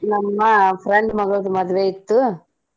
ನಮ್ಮ friend ಮಗಳದ್ ಮದ್ವೆ ಇತ್ತು.